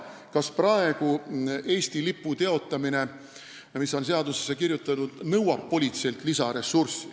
Kas praegu nõuab politseilt lisaressurssi Eesti lipu teotamisele reageerimine, mis on ju seadusesse kirjutatud?